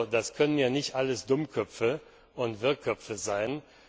Das können ja nicht alles Dummköpfe und Wirrköpfe sein!